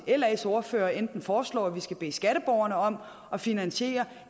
las ordfører enten foreslår at vi skal bede skatteborgerne om at finansiere